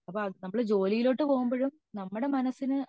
അപ്പൊ നമ്മൾ ജോലിയിലോട്ട് പോവുമ്പോഴും നമ്മുടെ മനസിന്